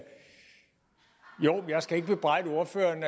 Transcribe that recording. skal ikke bebrejde ordføreren